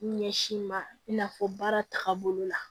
Ɲɛsin ma i n'a fɔ baara tagabolo la